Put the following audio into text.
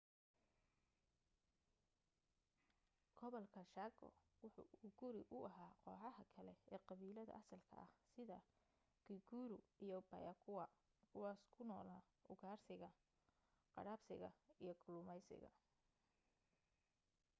gobolka chaco waxa uu guri u ahaa kooxaha kale ee qabiilada asalka ah sida guaycurú iyo payaguá kuwaas ku noolaa ugaarsiga qadhaabsiga iyo kalluumaysiga